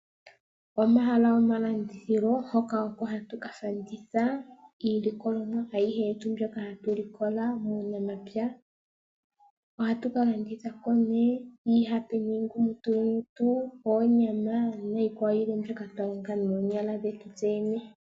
Omahala gomalandithilo hoka oko hatu ka fanditha iilikolomwa ayihe yetu mbyoka hatu likola momapya. Ohatu ka landitha nee niikwawo yilwe mbyoka twalonga noonyala dhetu yene.